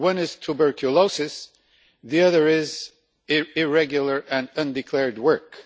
One is tuberculosis, the other is irregular and undeclared work.